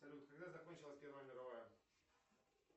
салют когда закончилась первая мировая